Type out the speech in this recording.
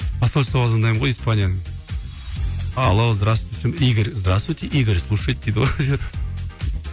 посольствоға звандаймын ғой испанияның алло здравствуйте десем игорь здравствуйте игорь слушает дейді ғой